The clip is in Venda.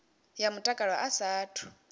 ya mutakalo a sa athu